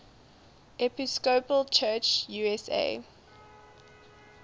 episcopal church usa